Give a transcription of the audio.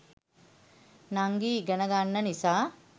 නංගි ඉගෙන ගන්න නිසා